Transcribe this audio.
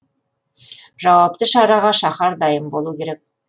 жауапты шараға шаһар дайын болу керек